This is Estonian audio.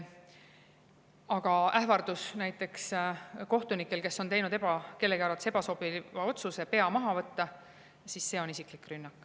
Aga ähvardus näiteks kohtunikel, kes on teinud kellegi arvates ebasobiva otsuse, pea maha võtta, see on isiklik rünnak.